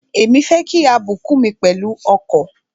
Èmi fẹ́ kí a bùkún mi pẹ̀lú ọkọ̀.